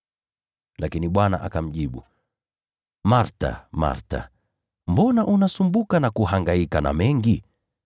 Lakini Bwana akamjibu, “Martha, Martha, mbona unasumbuka na kuhangaika na mengi?